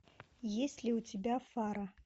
есть ли у тебя фара